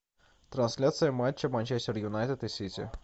трансляция матча манчестер юнайтед и сити